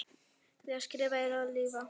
Því að skrifa er að lifa.